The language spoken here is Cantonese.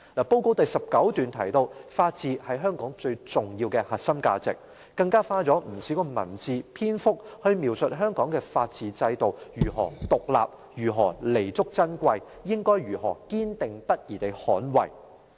報告第19段提到，法治是香港最重要的核心價值，更花了不少文字、篇幅描述香港的法治制度如何獨立，如何彌足珍貴，應該如何堅定不移地捍衞。